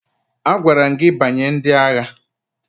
Agwara m gị banye ndị agha!